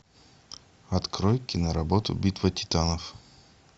открой киноработу битва титанов